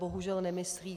Bohužel nemyslí.